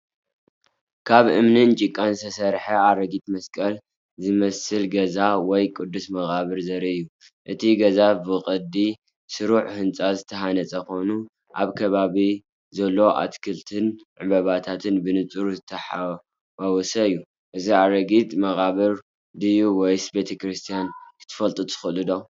ካብ እምንን ጭቃን ዝተሰርሐ ኣረጊት መስቀል ዝመስል ገዛ ወይ ቅዱስ መቓብር ዘርኢ እዩ። እቲ ገዛ ብቅዲ ስሩዕ ህንጻ ዝተሃንጸ ኮይኑ፣ ኣብ ከባቢኡ ዘሎ ኣትክልትን ዕምባባታትን ብንጹር ዝተሓዋወሰ እዩ። እዚ ኣረጊት መቓብር ድዩ ወይስ ቤተ ክርስቲያን ክትፈልጡ ትክእሉ ዶ?